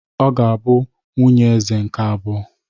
Ọ ga-abụ nwunye Eze nke abụọ.